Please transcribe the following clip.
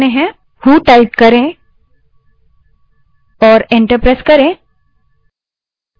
who type करें और enter press करें